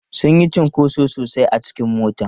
Sun yi cunkoso sosai a cikin motar.